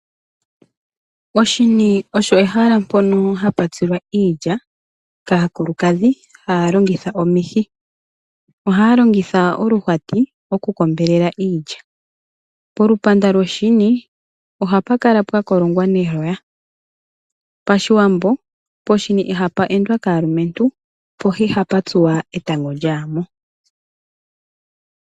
Oshini osho ehala mpoka hapu tsilwa iilya kaakulukadhi haya longitha omihi. Ohaya longitha oluhwati oku kombelela iilya. Polupanda lwoshini ohapu kala pwakolongwa neloya. Pashiwambo poshini ihapu endwa kaalumentu po ihapu tsuwa etango lyayamo.